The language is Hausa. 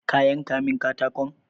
Ka yanka min katakon?